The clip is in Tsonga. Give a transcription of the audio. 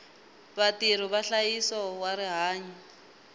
vatirhi va nhlayiso wa rihanyo